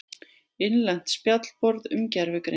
Innlent spjallborð um gervigreind.